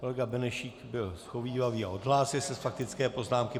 Kolega Benešík byl shovívavý a odhlásil se z faktické poznámky.